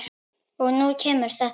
Og nú kemur þetta.